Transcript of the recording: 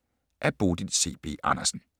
Af Bodil C. B. Andersen